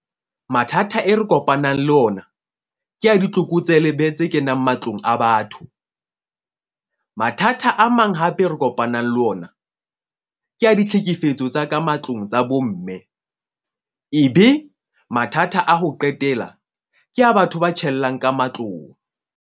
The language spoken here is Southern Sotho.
Mathata e re kopanang le ona ke a ditlokotselebe tse kenang matlong a batho. Mathata a mang hape re kopanang le ona ke a ditlhekefetso tsa ka matlong tsa bo mme. Ebe mathata a ho qetela ke ya batho ba tjhellang ka matlong.